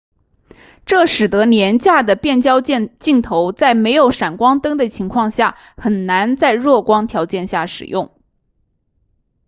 这使得廉价的变焦镜头在没有闪光灯的情况下很难在弱光条件下使用